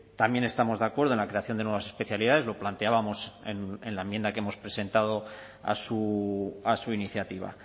también estamos de acuerdo en la creación de nuevas especialidades lo planteábamos en la enmienda que hemos presentado a su iniciativa